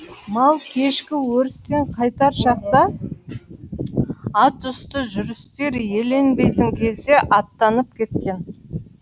мал кешкі өрістен қайтар шақта ат үсті жүрістер еленбейтін кезде аттанып кеткен